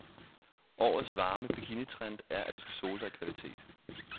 Årets varme bikinitrend er, at du skal sole dig i kvalitet.